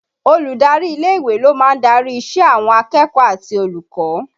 Olùdarí ilé ìwé ló máa ń darí ìṣe àwọn akẹ́kọ̀ọ́ àti olùkọ́